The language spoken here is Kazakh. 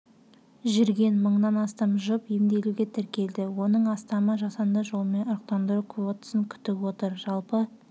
жүрген мыңнан астам жұп емделуге тіркелді оның астамы жасанды жолмен ұрықтандыру квотасын күтіп отыр жалпы